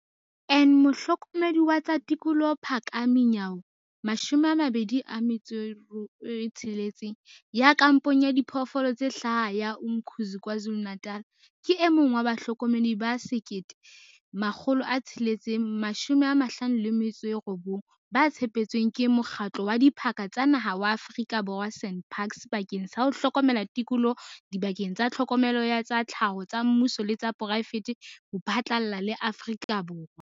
En Mohlokomedi wa tsa tikoloho Phakamani Nyawo, 26, ya kampong ya Diphoofolo tse Hlaha ya Umkhuze KwaZulu-Natal, ke e mong wa bahlokomedi ba 1 659 ba tshepetsweng ke Mokgatlo wa Diphaka tsa Naha wa Aforika Borwa, SANParks, bakeng sa ho hlokomela tikoloho dibakeng tsa tlhokomelo ya tsa tlhaho tsa mmuso le tsa poraefete ho phatlalla le Aforika Borwa.